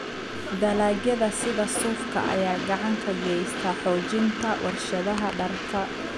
Dalagyada sida suufka ayaa gacan ka geysta xoojinta warshadaha dharka.